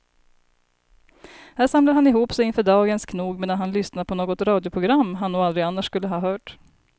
Här samlar han ihop sig inför dagens knog medan han lyssnar på något radioprogram han nog aldrig annars skulle ha hört.